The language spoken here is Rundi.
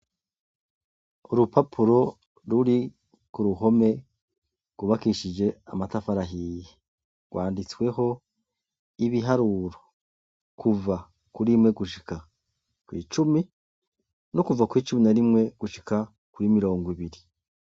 Udupapuro ruri ku ruhome rwubakishijwe amatafari ahiye. Rwanditsweho ibiharuro kuva kuri rimwe gushitsa kw'icumi no kuva kuri cumi na rimwe gushika kuri mirongo ibiri.